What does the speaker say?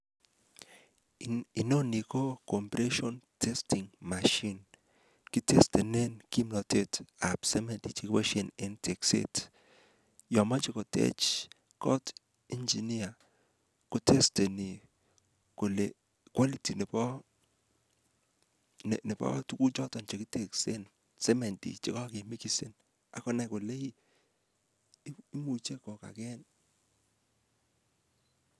Inoni ko ko compression testing machine. Kitestenen kimnotetab semendi che koboisien en tekset. Yon moche ketech kot inginia, kotesteni kole quality nobo tuguk choto kiteksen, semendi che kagemigisen ak konai kole ii imuche kogagen.